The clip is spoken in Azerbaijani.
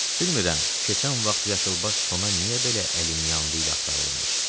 Bilmirəm, keçən vaxt yaşılbaş sona niyə belə əlimyanlı ilə axtarılırmış.